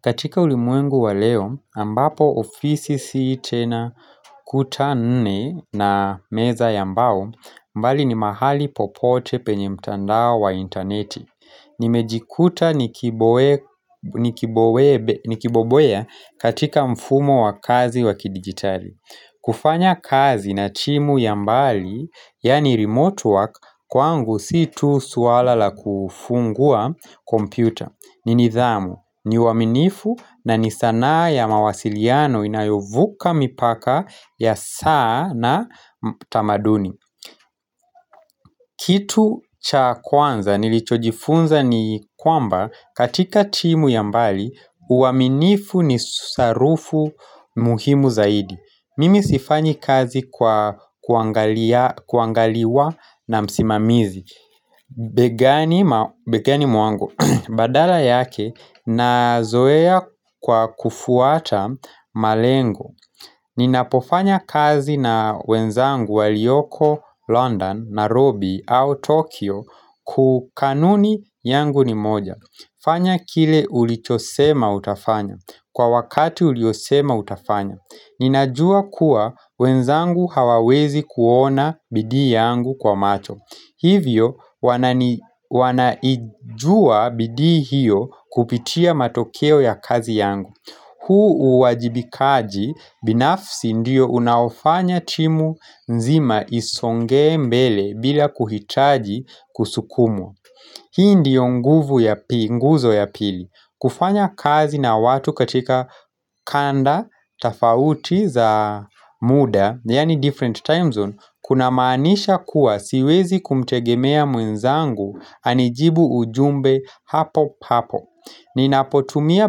Katika ulimwengu wa leo, ambapo ofisi si tena kuta nne na meza ya mbao, mbali ni mahali popote penye mtandao wa interneti. Nimejikuta nikiboboya katika mfumo wa kazi wakidigitali. Kufanya kazi na timu ya mbali, yaani remote work, kwangu si tu suala la kufungua kompyuta. Ni nithamu, ni waaminifu na ni sanaa ya mawasiliano inayovuka mipaka ya saa na tamaduni Kitu cha kwanza nilichojifunza ni kwamba katika timu ya mbali uaminifu ni sarufu muhimu zaidi Mimi sifanyi kazi kwa kuangaliwa na msimamizi Begani mwangu badala yake na zoea kwa kufuata malengo Ninapofanya kazi na wenzangu walioko London, Nairobi au Tokyo kukanuni yangu ni moja fanya kile ulichosema utafanya kwa wakati uliosema utafanya Ninajua kuwa wenzangu hawawezi kuona bidii yangu kwa macho Hivyo wanaijua bidii hiyo kupitia matokeo ya kazi yangu huu uwajibikaji binafsi ndiyo unaofanya timu nzima isongee mbele bila kuhitaji kusukumwa Hii ndiyo nguvu ya pinguzo ya pili kufanya kazi na watu katika kanda, tafauti za muda, yaani different time zone Kuna maanisha kuwa siwezi kumtegemea mwenzangu anijibu ujumbe hapo hapo Ninapotumia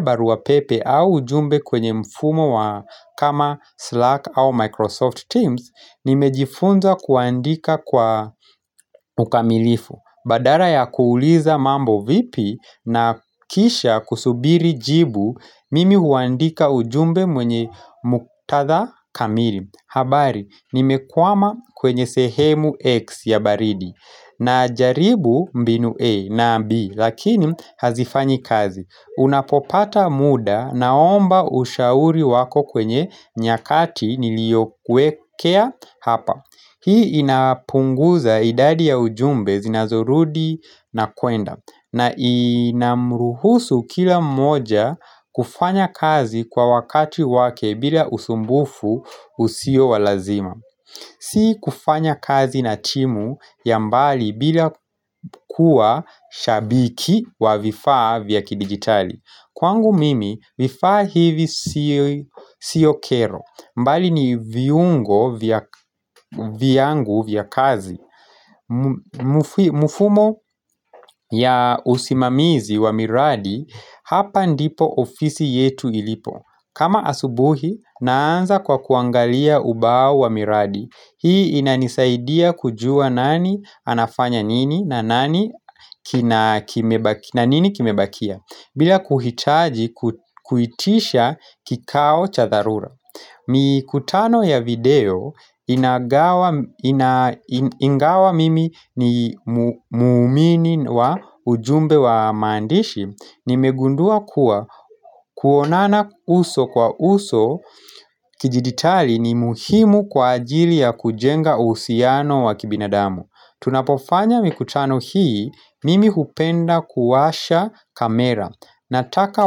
baruapepe au ujumbe kwenye mfumo wa kama Slack au Microsoft Teams Nimejifunza kuandika kwa ukamilifu Badala ya kuuliza mambo vipi na kisha kusubiri jibu mimi huandika ujumbe mwenye muktatha kamili habari, nimekwama kwenye sehemu X ya baridi na jaribu mbinu A na B Lakini hazifanyi kazi Unapopata muda naomba ushauri wako kwenye nyakati niliyokuwekea hapa Hii inapunguza idadi ya ujumbe zinazorudi na kwenda na inamruhusu kila moja kufanya kazi kwa wakati wake bila usumbufu usio walazima Si kufanya kazi na timu ya mbali bila kuwa shabiki wa vifaa vya kidigitali Kwangu mimi vifaa hivi siyo kero mbali ni viungo viangu vya kazi Mufumo ya usimamizi wa miradi Hapa ndipo ofisi yetu ilipo kama asubuhi naanza kwa kuangalia ubao wa miradi Hii inanisaidia kujua nani anafanya nini na nini kimebakia bila kuhitaji kuitisha kikao chatharura Mikutano ya video inagawa, ina ingawa mimi ni muumini wa ujumbe wa maandishi Nimegundua kuwa kuonana uso kwa uso kijiditali ni muhimu kwa ajili ya kujenga uhusiano wa kibinadamu Tunapofanya mikutano hii mimi hupenda kuwasha kamera Nataka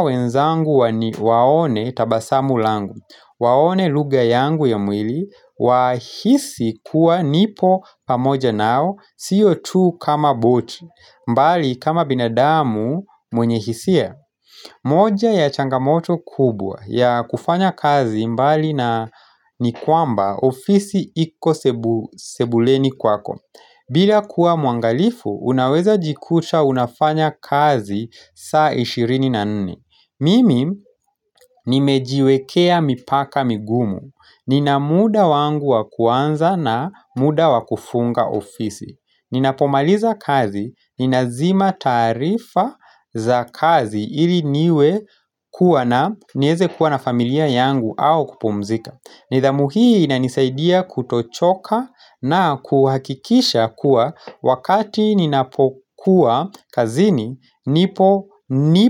wenzangu waone tabasamu langu Waone lugha yangu ya mwili wahisi kuwa nipo pamoja nao siyo tu kama botui mbali kama binadamu mwenye hisia moja ya changamoto kubwa ya kufanya kazi mbali na nikwamba ofisi iko sebuleni kwako bila kuwa muangalifu unaweza jikuta unafanya kazi saa ishirini na nne Mimi nimejiwekea mipaka migumu Ninamuda wangu wakuanza na muda wakufunga ofisi Ninapomaliza kazi, ninazima taarifa za kazi ili niwe kuwa na nieze kuwa na familia yangu au kupumzika nidhamu hii inanisaidia kutochoka na kuhakikisha kuwa Wakati ninapokuwa kazini nipo nipo.